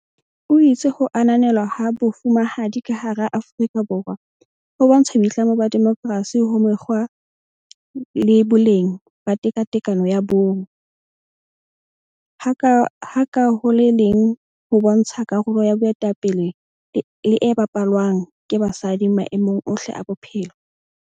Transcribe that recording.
O itse ho ananelwa ha Bo fumahadi ka hara Aforika Borwa ho bontsha boitlamo ba demokersi ho mekgwa le boleng ba tekatekano ya bong, ha ka ho le leng ho bontsha karolo ya boetape le e bapalwang ke basadi maemong ohle a bophelo.